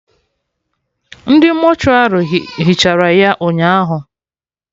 Ndị mortuary hichara ya ụnyaahụ